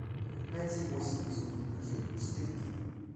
найди восемь безумных ночей четыре кей